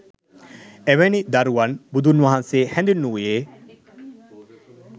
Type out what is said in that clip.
එවැනි දරුවන් බුදුන් වහන්සේ හැඳින්වූයේ